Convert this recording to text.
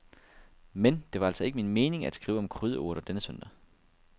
Men det var altså ikke min mening at skrive om krydderurter denne søndag.